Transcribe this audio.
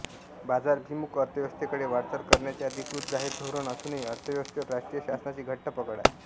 बाजाराभिमुख अर्थव्यवस्थेकडे वाटचाल करण्याचे अधिकृत जाहीर धोरण असूनही अर्थव्यवस्थेवर राष्ट्रीय शासनाची घट्ट पकड आहे